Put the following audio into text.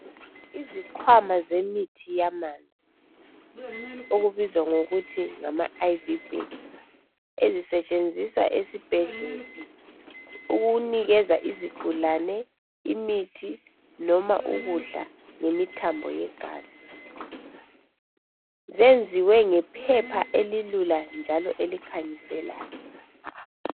izikhwama zemithi yamanzi ezibizwa kuthiwa ngama IV bags zisetshenziswa esibhedlela ukunikeza izigulane imithi loba ukudla ngemithambo yegazi, zenziwe ngephepha elilula njalo elitshengiselayo.